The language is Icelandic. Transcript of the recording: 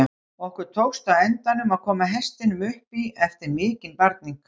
Okkur tókst á endanum að koma hestinum upp í eftir mikinn barning.